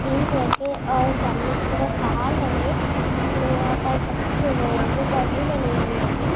काफी बडी और नदी लगी। उसके आस पास काफी सारे पेड पौधे होंगे। मुँह के सामने की तरह पहुँच उसमें यहाँ पर अच्छे रहेंगे। बनी हुई फॅर मुँह लिख रहेगा।